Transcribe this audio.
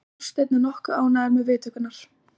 Þorsteinn er nokkuð ánægður með viðtökurnar.